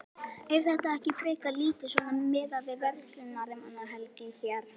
Er þetta ekki frekar lítið svona miðað við verslunarmannahelgi hér?